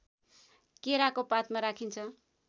केराको पातमा राखिन्छ